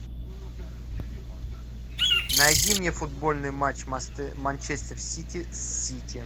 найди мне футбольный матч манчестер сити с сити